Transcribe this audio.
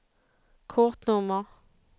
kortnummer